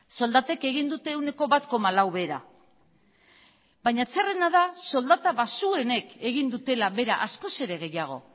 soldatek egin dute ehuneko bat koma lau behera baina txarrena da soldata baxuenek egin dutela behera askoz ere gehiago